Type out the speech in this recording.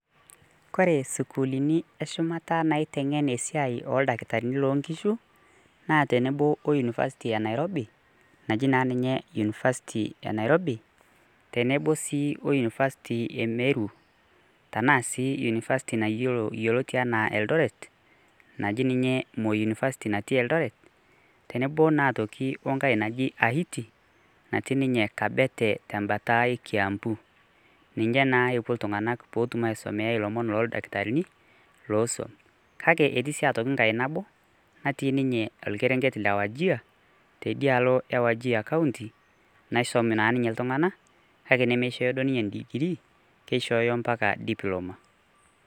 Kore sukuulini eshumata naiteng'en esiai oldakitarini lonkishu, naa tenebo o University of Nairobi, naji na ninye unifasti e Nairobi, tenebo si o unifasti e Meru, tanaa si unifasti nayiolo yioloti enaa Eldoret, naji ninye Moi University natii Eldoret, tenebo naa aitoki onkae naji Ahiti, natii ninye Kabete tembata e Kiambu. Ninche naa opuo iltung'anak potum aisomea ilomon loldakitarini, losuam. Kake etii si atoki nkae nabo, natii ninye orkerenket le Wajir, teidialo e Wajir county, naisom na ninye iltung'anak, kake nemeshooyo duo ninye digiri, kishooyo mpaka diploma.